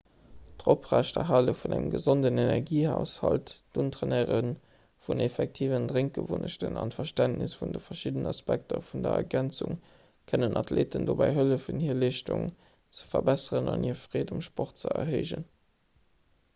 d'oprechterhale vun engem gesonden energiehaushalt d'untrainéiere vun effektiven drénkgewunnechten an d'verständnis vun de verschiddenen aspekter vun der ergänzung kënnen athleeten dobäi hëllefen hir leeschtung ze verbesseren an hir freed um sport ze erhéijen